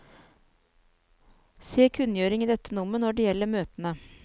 Se kunngjøring i dette nummer når det gjelder møtene.